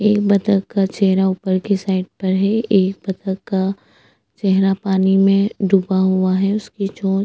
एक बत्तख का चेहरा ऊपर की साइड पर है एक बत्तख का चेहरा पानी में डूबा हुआ है उसकी चोंच --